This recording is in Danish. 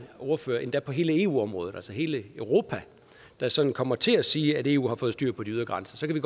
ordfører endda på hele eu området hele europa der sådan kommer til at sige at eu har fået styr på de ydre grænser ved